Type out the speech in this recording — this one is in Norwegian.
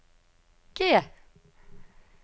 G